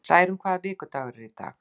Særún, hvaða vikudagur er í dag?